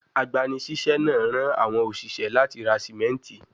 Agbanisiṣẹ naa ran awọn oṣiṣẹ lati ra simenti